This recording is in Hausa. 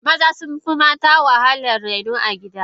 Maza sunfi mata wahalan raino a gida.